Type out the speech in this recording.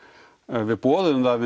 við boðuðum það að